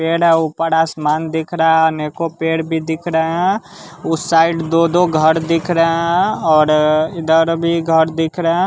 पेड़ है ऊपर आसमान दिख रहा है अनेको पेड़ भी दिख रहे हैं उस साइड दो-दो घर दिख रहे हैं और इधर भी घर दिख रहे है।